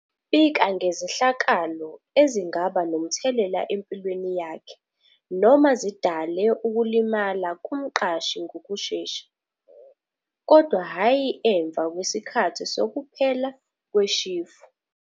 Bika ngezehlakalo ezingaba nomthelela empilweni yakhe noma zidale ukulimala kumqashi ngokushesha, kodwa hhayi emva kwesikhathi sokuphela kweshifu.